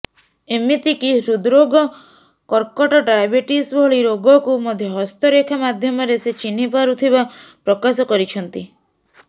ଏମିତିକି ହୃକ୍ଷରୋଗ କର୍କଟ ଡାଇବେଟିସ୍ ଭଳି ରୋଗକୁ ମଧ୍ୟ ହସ୍ତରେଖା ମାଧ୍ୟମରେ ସେ ଚିହ୍ନିପାରୁଥିବା ପ୍ରକାଶ କରିଛନ୍ତି